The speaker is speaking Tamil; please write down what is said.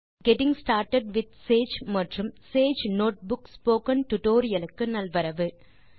கெட்டிங் ஸ்டார்ட்டட் வித் சேஜ் மற்றும் சேஜ் நோட்புக் ஸ்போக்கன் டியூட்டோரியல் க்கு நல்வரவு